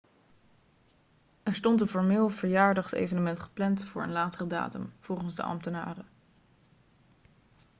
er stond een formeel verjaardagsevenement gepland voor een latere datum volgens de ambtenaren